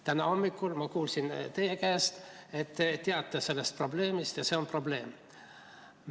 Täna hommikul ma kuulsin teie käest, et teiegi teate sellest probleemist ja see on probleem.